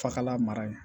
Fakalan mara yen